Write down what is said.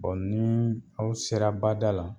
nii aw sera bada la